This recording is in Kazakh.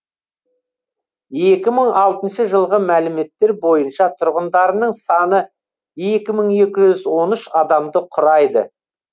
екі мың алтыншы жылғы мәліметтер бойынша тұрғындарының саны екі мың екі жүз он үш адамды құрайды